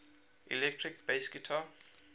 electric bass guitar